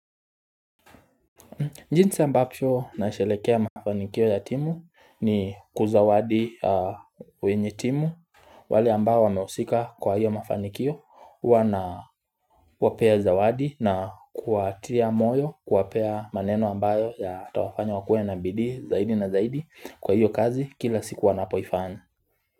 Jinsi ambacho nasherehekea mafanikio ya timu ni kuzawadi wenye timu wale ambao wamehusika kwa hiyo mafanikio huwa nawapea zawadi na kuwatia moyo kuwapea maneno ambayo ya tawafanya wakue na bidii zaidi na zaidi kwa hiyo kazi kila siku wanapoifanya.